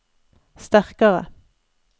sterkare